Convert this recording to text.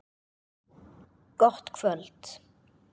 Gott kvöld.